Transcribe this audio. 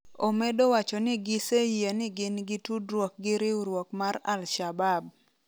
Omedo wacho ni giseyie ni gin gi tudruok gi riwruok mar Al Shabaab.